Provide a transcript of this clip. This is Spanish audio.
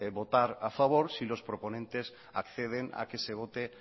votar a favor si los proponentes acceden a que se vote